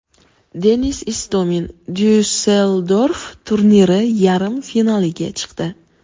Denis Istomin Dyusseldorf turniri yarim finaliga chiqdi.